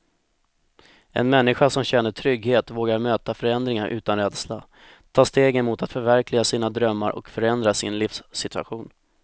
En människa som känner trygghet vågar möta förändringar utan rädsla, ta stegen mot att förverkliga sina drömmar och förändra sin livssituation.